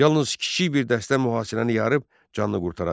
Yalnız kiçik bir dəstə mühasirəni yarıb canını qurtara bildi.